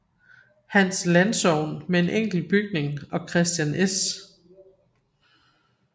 Hans Landsogn med en enkelt bygning og Kristian S